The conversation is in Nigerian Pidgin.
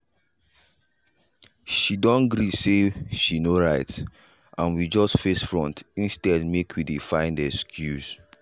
she don gree say she no right and we just face front instead make we dey find excuse.